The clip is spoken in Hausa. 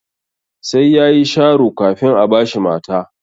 Sai yayi sharo kafin a bashi mata.